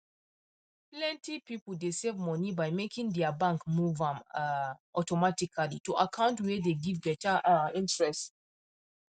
plenty people dey save money by making their bank move am um automatically to account wey dey give better um interest